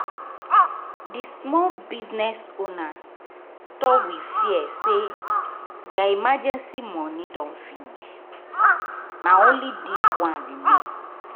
di small business owner talk with fear say their emergency money don finish — na only this one remain.